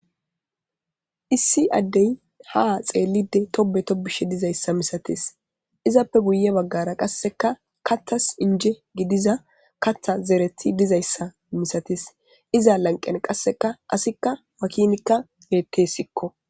issi addey ha xeellide tobe tobishe dizayssa misatis izappe guye baggara qasseka kathas inje gidiza katha zereti dizayssa misatis iza lanqen qasseka asikka wakinikka geettesikko.